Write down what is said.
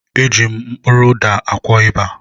Eji m kpụrụ ụda akwọ ịba.